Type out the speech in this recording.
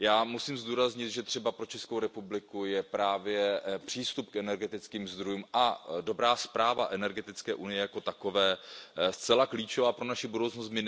Musím zdůraznit, že třeba pro Českou republiku je právě přístup k energetickým zdrojům a dobrá správa energetické unie jako takové, zcela klíčová pro naši budoucnost.